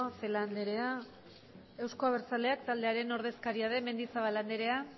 celaá andrea euzko abertzaleak taldearen ordezkaria den mendizabal andrea